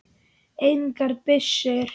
Engar byssur.